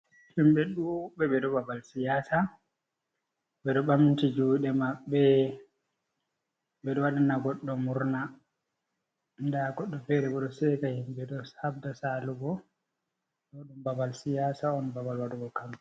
Himbe ɗuuɓɓe ɓe ɗo ɓaɓal siyasa. Ɓe ɗo ɓamti juɗe maɓɓe. Ɓe ɗo waɗina goɗɗo murna. Nɗa goɗɗo fere ɓo ɗo seka himɓe ɗo haɗɗa salugo. Ɗo ɗum ɓaɓal siyasa on, ɓaɓal waɗugo kam.